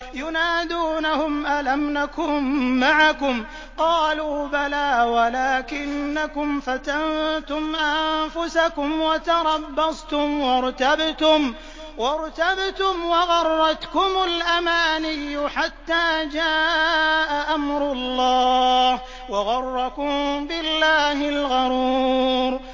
يُنَادُونَهُمْ أَلَمْ نَكُن مَّعَكُمْ ۖ قَالُوا بَلَىٰ وَلَٰكِنَّكُمْ فَتَنتُمْ أَنفُسَكُمْ وَتَرَبَّصْتُمْ وَارْتَبْتُمْ وَغَرَّتْكُمُ الْأَمَانِيُّ حَتَّىٰ جَاءَ أَمْرُ اللَّهِ وَغَرَّكُم بِاللَّهِ الْغَرُورُ